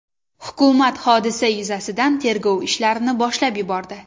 Hukumat hodisa yuzasidan tergov ishlarini boshlab yubordi.